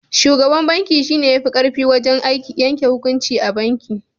Shugaban banki shi ne ya fi ƙarfi wajen yanke hukunci a banki.